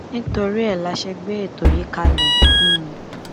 nítorí ẹ la ṣe gbé ètò yìí kalẹ um